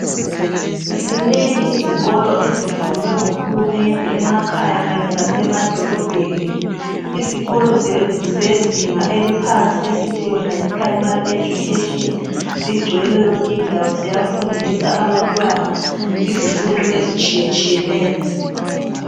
Ezinengi izikolo ezivulwe nguhulumende emakhaya Kanye lasemadolobheni. Izikolo ezezinga eliphansi esithi yona Yi primary education zigcwele yonke indawo ukufundiswa abantwana izifundo ezitshiyeneyo